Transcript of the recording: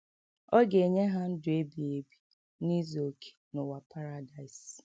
Ọ ga - enye ha ndụ ebighị ebi n’izu okè n’ụwa paradaịs.